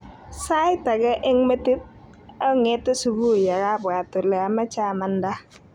Sait age eng metit onge'te subui akabwat ole omoche amanda.